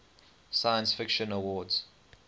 science fiction awards